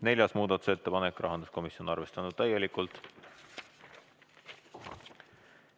Neljas muudatusettepanek, esitajaks rahanduskomisjon, arvestatud täielikult.